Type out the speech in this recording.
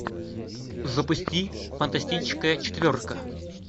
запусти фантастическая четверка